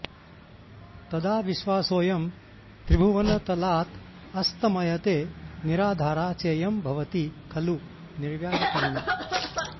तदा विश्वासोऽयं त्रिभुवनतलादस्तमयते निराधारा चेयं भवति खलु निर्व्याजकरुणा